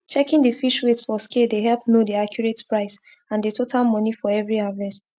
checking the fish weight for scale dey help know the accurate price and the total money for every harvest